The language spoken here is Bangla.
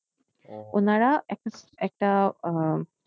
উনারা একটা একটা উম